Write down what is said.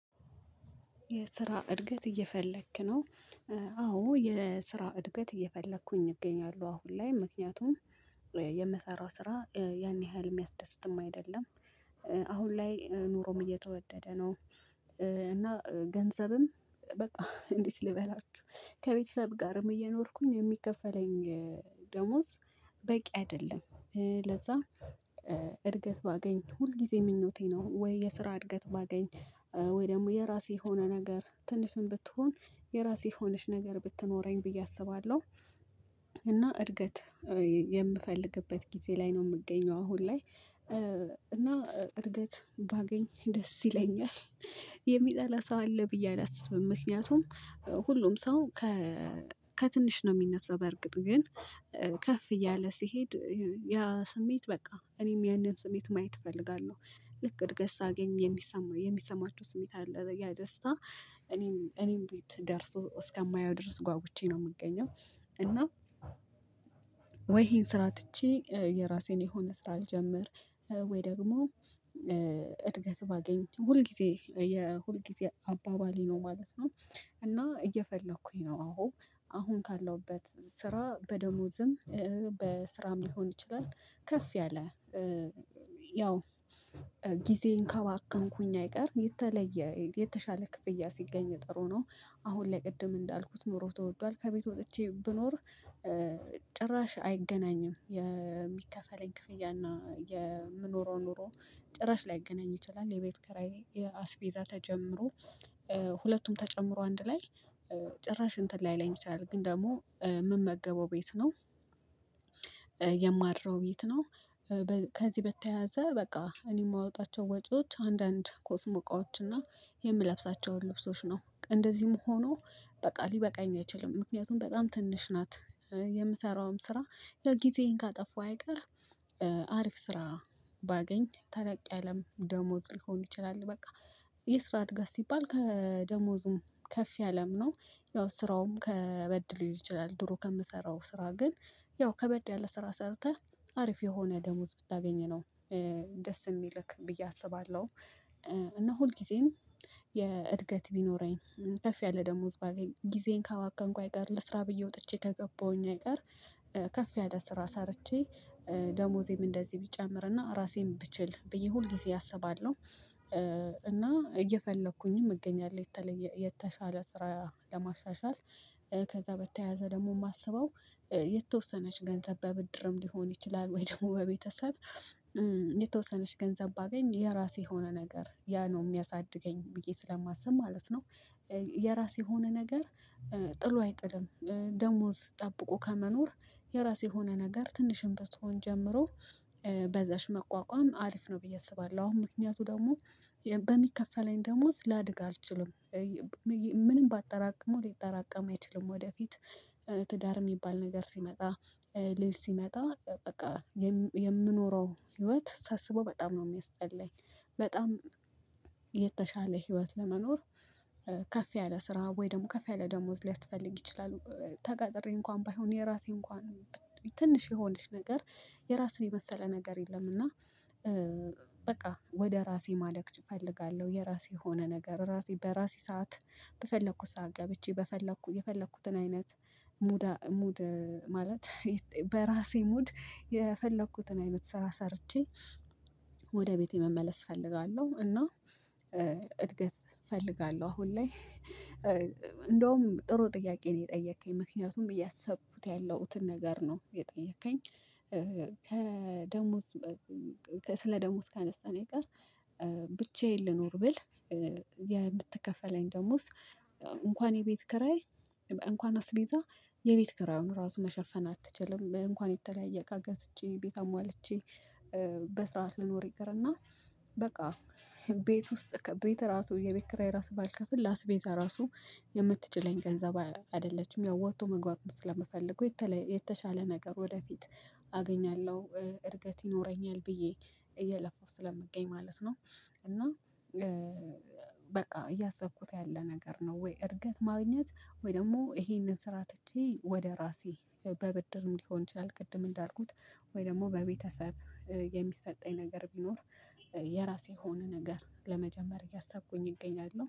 የስራ እድገት እየፈለክ ነው? አዎ የስራ እድገት እየፈለኩኝ እገኛለሁ አሁን ላይ ምክንያቱም የምሰራው ስራ ያን ያህል የሚያስደስትም አይደለም። አሁን ላይ ኑሮም እየተወደደ ነው። እና ገንዘብም በቃ እንዴት ልበላችሁ ጋርም እየኖርኩኝ የሚከፈለኝ ደሞዝ በቂ አይደለም። ለዛ እድገት ባገኝ ሁል ጊዜ ምኞቴ ነው ወይ የስራ እድገት ባገኝ ወይ ደግሞ የራሴ የሆነ ነገር ትንሽም ብትሆን የራሴ የሆነች ነገር ብትኖረኝ ብዬ አስባለሁ። እና እድገት የምፈልግበት ጊዜ ላይ ነው የምገኘው አሁን ላይ እና እድገት ባገኝ ደስ ይለኛል። የሚጠላ ሰው አለ ብዬ አላስብም። ምክንያቱም ሁሉም ሰው ከትንሽ ነው የሚነሳው በእርግጥ ግን ከፍ እያለ ሲሄድ ያ ስሜት በቃ እኔም ያንን ስሜት ማየት እፈልጋለሁ። ልክ እድገስ ሳገኝ የሚሰማ የሚሰማቸው ስሜት አለ ያ ደስታ። እኔም እኔም ቤት ደርሶ እስከማየው ድረስ ጓጉቼ ነው የምገኘው። እና ወይ ይሄን ስራ ትቼ የራሴን የሆነ ስራ ልጀምር። ወይ ደግሞ እድገት ባገኝ ሁል ጊዜ ሁል ጊዜ አባባሌ ነው ማለት ነው። እና እየፈለኩኝ ነው አዎ አሁን ካለሁበት ስራ በደሞዝም በስራም ሊሆን ይችላል ከፍ ያለ። ያው ጊዜን ካባከንኩኝ አይቀር የተለየ የተሻለ ክፍያ ሲገኝ ጥሩ ነው። አሁን ላይ ቅድም እንዳልኩት ኖሮ ተወዷል ከቤት ወጥቼ ብኖር። ጭራሽ አይገናኝም የሚከፈለኝ ክፍያ እና የምኖረው ኑሮ ጭራሽ ላይገናኝ ይችላል። የቤት ከራዬ አስቤዛ ተጀምሮ ሁለቱም ተጨምሮ አንድ ላይ ጭራሽ እንትን ላይለኝ ይችላል ግን ደግሞ የምመገበው ቤት ነው። የማድረው ቤት ነው። ከዚህ በተያያዘ በቃ እኔ የማወጣቸው ወጪዎች አንዳንድ ኮስሞቃዎች እና የምለብሳቸውን ልብሶች ነው። እንደዚህም ሆኖ በቃ ሊበቃኝ አይችልም ምክንያቱም በጣም ትንሽ ናት። የምሰራውም ስራ ያው ጊዜዬን ካጠፉ አይቀር። አሪፍ ስራ ባገኝ ታለቅ ያለም ደሞዝ ሊሆን ይችላል በቃ የስራ እድገት ሲባል ከደሞዙም ከፍ ያለም ነው። ያው ስራውም ከበድ ሊል ይችላል ድሮ ከምሰራው ስራ ግን ያው ከበድ ያለ ስራ ሰርተህ አሪፍ የሆነ ደሞዝ ብታገኘነው ነው። ደስ የሚልክ ብዬ አስባለሁ። እና ሁልጊዜም የእድገት ቢኖረኝ ከፍ ያለ ደሞዝ ባገኝ ጊዜን ካባከንኩ አይቀር ለስራ ብዬ ወጥቼ ከገባሁኝ አይቀር። ከፍ ያለ ስራ ሰርቼ ደሞዜም እንደዚህ ቢጨምርና ራሴን ብችል ብዬ ሁልጊዜ አስባለሁ። እና እየፈለኩኝም እገኛለሁ የተለየ የተሻለ ስራ ለማሻሻል። ከዛ በተያያዘ ደግሞ የማስበው የተወሰነች ገንዘብ በብድርም ሊሆን ይችላል ወይ ደግሞ በቤተሰብ የተወሰነች ገንዘብ ባገኝ የራሴ የሆነ ነገር ያ ነው የሚያሳድገኝ ብዬ ስለማስብ ማለት ነው። የራስ የሆነ ነገር ጥሎ አይጥልም ደሞዝ ጠብቆ ከመኖር የራስ የሆነ ነገር ትንሽም ብትሆን ጀምሮ በዛች መቋቋም አሪፍ ነው ብዬ አስባለሁ። አሁን ምክንያቱ ደግሞ በሚከፈለኝ ደሞዝ ላድግ አልችልም። ምንም ባጠራቅመው ሊጠራቀም አይችልም ወደፊት ትዳር የሚባል ነገር ሲመጣ ልጅ ሲመጣ በቃ የምኖረው ህይወት ሳስበው በጣም ነው የሚያስጠላኝ። በጣም የተሻለ ህይወት ለመኖር። ከፍ ያለ ስራ ወይም ደግሞ ከፍ ያለ ደሞዝ ሊያስፈልግ ይችላል ተቀጥሬ እንኳን ባይሆን የራሴ እንኳን ትንሽ የሆነች ነገር። የራስህን የመሰለ ነገር የለም እና በቃ ወደ ራሴ ማደግ እፈልጋለሁ። የራሴ የሆነ ነገር ራሴ በራሴ ሰዓት በፈለኩት ሰዓት ገብቼ በፈለኩት የፈለኩትን አይነት ሙድ ማለት በራሴ ሙድ የፈለኩትን አይነት ስራ ሰርቼ። ወደ ቤቴ መመለስ እፈልጋለሁ። እና እድገት እፈልጋለሁ አሁን ላይ። እንደውም ጥሩ ጥያቄ ነው የጠየከኝ ምክንያቱም አሰብኩትን ያለውትን ነገር ነው የጠየከኝ። ከደሞዝ ስለ ደሞዝ ካነሳን የቀር ብቻዬን ልኖር ብል የምትከፈለኝ ደሞዝ እንኳን የ ቤት ክራይ እንኳን አስቤዛ የቤት ክራውን ራሱ መሸፈን አትችልም እንኳን የተለያየ ቃገስ ገዝቼ ቤት አሟልቼ። በስርዓት ልኖር ይቅርና በቃ ቤት ውስጥ ቤት ራሱ የቤት ክራይ ራሱ ባልከፍል ለ አስቤዛ ራሱ የምትችለኝ ገንዘብ አይደለችም። ያው ወጥቶ መግባት ስለምፈልገው የተሻለ ነገር ወደፊት አገኛለሁ እድገት ይኖረኛል ብዬ እየለፋው ስለምገኝ ማለት ነው። እና በቃ እያሰብኩት ያለ ነገር ነው ወይ እርገት ማግኘት ወይ ደግሞ ይሄንን ስራ ትቼ ወደ ራሴ በብድርም ሊሆን ይችላል ቅድም እንዳርጉት ወይ ደግሞ በቤተሰብ የሚሰጠኝ ነገር ቢኖር የራሴ የሆነ ነገር ለመጀመር እያሳብኩኝ እገኛለሁ